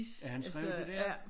At han skrev det der